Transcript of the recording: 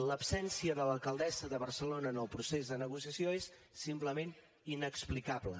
l’absència de l’alcaldessa de barcelona en el procés de negociació és simplement inexplicable